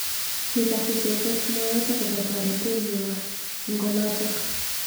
Kikas icheket mwaet akobo toretet nywa ing olotok.